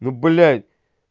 ну блядь